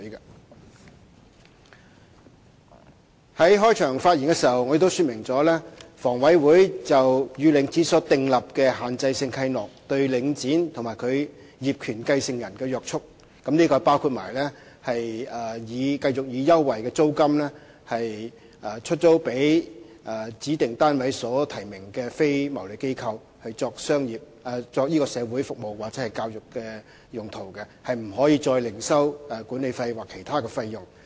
我在開場發言時亦說明了，房委會與領展所訂立的限制性契諾對領展及其業權繼承人的約束，這包括繼續以優惠的租金出租予指定單位所提名的非牟利機構作社會服務或教育的用途，是不可以再另收管理費或其他費用。